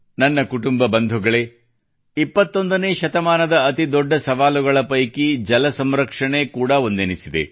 ನನ್ನ ಕುಟುಂಬ ಬಂಧುಗಳು 21ನೇ ಶತಮಾನದ ಅತಿ ದೊಡ್ಡ ಸವಾಲುಗಳ ಪೈಕಿ ಜಲ ಸಂರಕ್ಷಣೆ ಎನ್ನುವುದೂ ಕೂಡಾ ಒಂದೆನಿಸಿದೆ